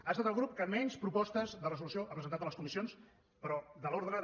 ha estat el grup que menys propostes de resolució ha presentat a les comissions però de l’ordre de